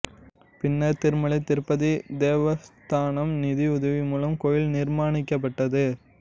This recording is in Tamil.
பின்னர் திருமலை திருப்பதி தேவஸ்தானம் நிதியுதவி மூலம் கோயில் நிர்மாணிக்கப்பட்டது